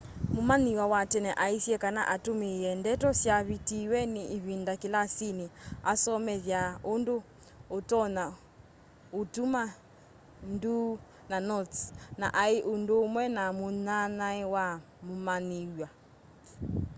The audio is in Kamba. mumanyiw'a wa tene aisye kana atumiie ndeto syavitiwe ni ivinda kilasini asomethya undu utonya utuma nduu na notes na ai undumwe na munyanyae wa mumanyiw'a